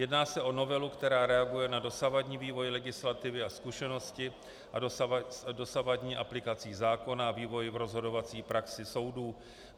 Jedná se o novelu, která reaguje na dosavadní vývoj legislativy a zkušenosti s dosavadní aplikací zákona a vývoj v rozhodovací praxi soudů.